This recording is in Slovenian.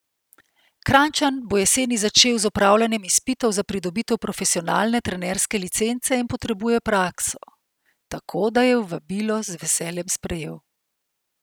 Kranjčan bo jeseni začel z opravljanjem izpitov za pridobitev profesionalne trenerske licence in potrebuje prakso, tako da je vabilo z veseljem sprejel.